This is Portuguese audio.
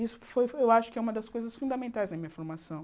Isso foi, eu acho, uma das coisas fundamentais na minha formação.